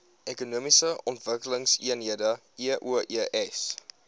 ekonomiese ontwikkelingseenhede eoes